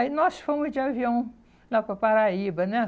Aí nós fomos de avião lá para a Paraíba, né?